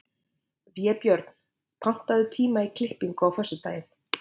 Vébjörn, pantaðu tíma í klippingu á föstudaginn.